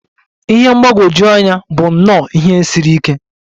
Ihe mgbagwoju anya bụ nnọọ ihe siri ike.